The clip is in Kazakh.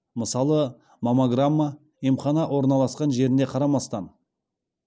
мысалы маммограмма емхана орналасқан жеріне қарамастан